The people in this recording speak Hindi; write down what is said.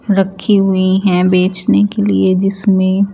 रखी हुई है बेचने के लिए जिसमें--